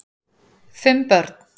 Fimm börn